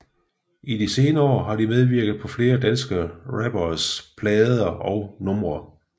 De senere år har de medvirket på flere danske rapperes plader og numre